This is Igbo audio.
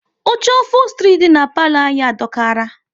Oche ofostri dị na palo anyị adokara